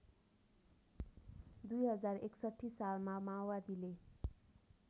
२०६१ सालमा माओवादीले